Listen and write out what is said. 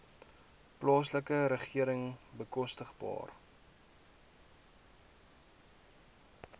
plaaslike regering bekostigbare